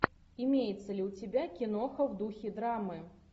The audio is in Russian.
имеется ли у тебя киноха в духе драмы